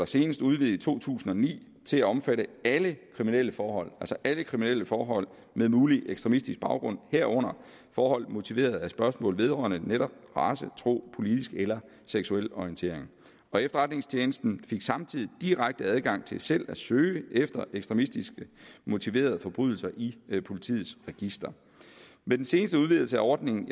senest udvidet i to tusind og ni til at omfatte alle kriminelle forhold altså alle kriminelle forhold med mulig ekstremistisk baggrund herunder forhold motiveret af spørgsmål vedrørende netop race tro politisk eller seksuel orientering og efterretningstjenesten fik samtidig direkte adgang til selv at søge efter ekstremistisk motiverede forbrydelser i politiets register med den seneste udvidelse af ordningen